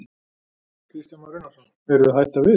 Kristján Már Unnarsson: Eruð þið að hætta við?